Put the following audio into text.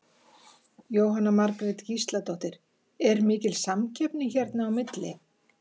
Jóhanna Margrét Gísladóttir: Er mikil samkeppni hérna á milli?